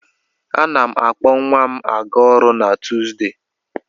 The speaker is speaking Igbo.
A na m akpọ nwa m a ga-ọrụ na Tuuzdee.